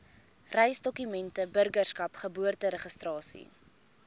reisdokumente burgerskap geboorteregistrasie